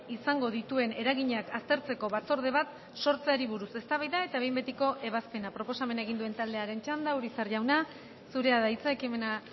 izango dituen eraginak aztertzeko batzorde bat sortzeari buruz eztabaida eta behin betiko ebazpena proposamena egin duen taldearen txanda urizar jauna zurea da hitza ekimena